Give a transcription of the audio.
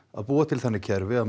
að búa til þannig kerfi að